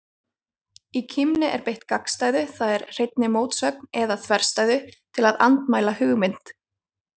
Í kímni er beitt gagnstæðu, það er hreinni mótsögn eða þverstæðu, til að andmæla hugmynd.